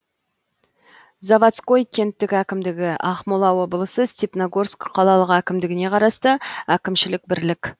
заводской кенттік әкімдігі ақмола облысы степногорск қалалық әкімдігіне қарасты әкімшілік бірлік